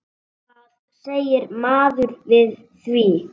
Hvað segir maður við því?